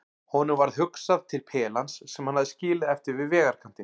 Honum varð hugsað til pelans sem hann hafði skilið eftir við vegarkantinn.